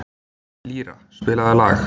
Lýra, spilaðu lag.